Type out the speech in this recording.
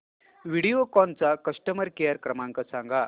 व्हिडिओकॉन चा customer care क्रमांक सांगा